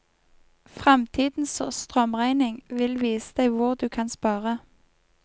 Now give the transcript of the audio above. Fremtidens strømregning vil vise deg hvor du kan spare.